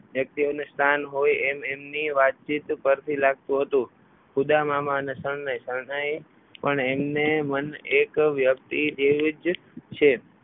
વ્યક્તિઓનું સ્થાન હોય એમ એમની વાતચીત પરથી લાગતું હતું. ખુદા મામા અને શરણાઈ પણ એમને મન એક વ્યક્તિ જેવું જ છે.